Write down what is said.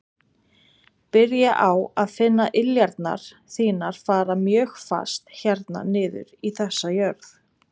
Byrja á að finna iljarnar þínar fara mjög fast hérna niður í þessa jörð.